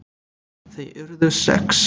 Þau urðu sex.